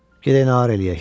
Gedək nağar eləyək.